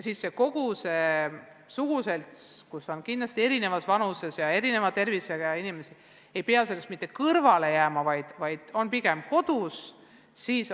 Siis ei peaks kogu see suguselts, kus on kindlasti eri vanuses ja erisuguse tervisega inimesi, sellest kõrvale jääma, vaid on pigem kodus.